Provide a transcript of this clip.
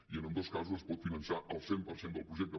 i en ambdós casos es pot finançar el cent per cent del projecte